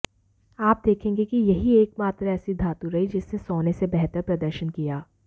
आप देखेंगे कि यही एकमात्र ऐसी धातु रही जिसने सोने से बेहतर प्रदर्शन किया